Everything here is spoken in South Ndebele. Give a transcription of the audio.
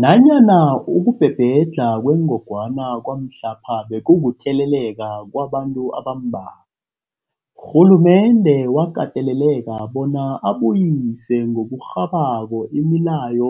Nanyana ukubhebhedlha kwengogwana kwamhlapha bekukutheleleka kwabantu abambalwa, urhulumende wakateleleka bona abuyise ngokurhabako imileyo